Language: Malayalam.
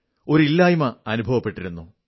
ഒരു ഇല്ലായ്മ അനുഭവപ്പെട്ടിരുന്നു